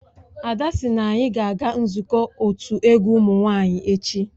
Ada sị na anyị ga-aga nzukọ otu egwu ụmụ nwanyị echi